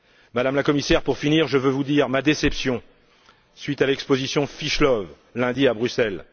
Madame la Commissaire, pour terminer, je veux vous dire ma déception suite à l'exposition Fish Love, lundi, à Bruxelles.